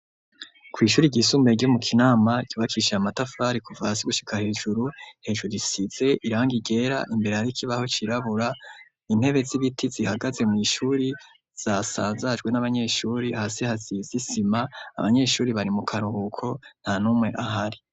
Kw' ishuri ry'isumbee ryo mu Kinama ryubakishij'amatafrari kuva hasi gushika hejuru hejuru risize irangi ryera imbere har'ikibaho cirabura, intebe z'ibiti zihagaze mw' ishuri zasanzajwe n'abanyeshuri, hasi haziz'isima abanyeshuri bari mu karuhuko nta numwe ahari.